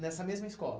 Nessa mesma escola?